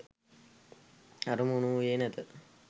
අරමුණ වූයේ නැත.